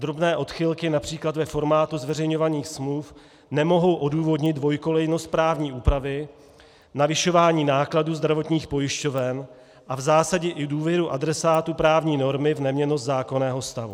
Drobné odchylky například ve formátu zveřejňovaných smluv nemohou odůvodnit dvoukolejnost právní úpravy, navyšování nákladů zdravotních pojišťoven a v zásadě i důvěru adresátů právní normy v neměnnost zákonného stavu.